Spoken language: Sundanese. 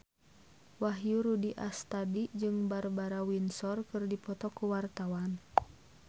Wahyu Rudi Astadi jeung Barbara Windsor keur dipoto ku wartawan